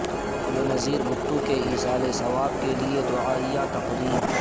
بے نظیر بھٹو کے ایصال ثواب کیلئے دعائیہ تقریب